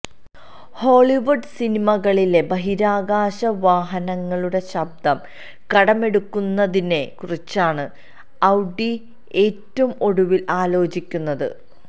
Hollywood സിനിമകളിലെ ബഹിരാകാശവാഹനങ്ങളുടെ ശബ്ദം കടമെടുക്കുന്നതിനെക്കുറിച്ചാണ് ഔഡി ഏറ്റവും ഒടുവില് ആലോചിക്കുന്നത്